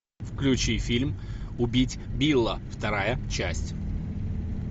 включи фильм убить билла вторая часть